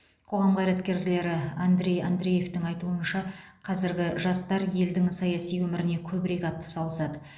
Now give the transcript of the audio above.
қоғам қайраткері андрей андреевтің айтуынша қазіргі жастар елдің саяси өміріне көбірек атсалысады